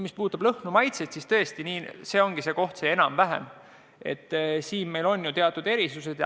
Mis puudutab lõhnu ja maitseid, siis siin meil on teatud erisused.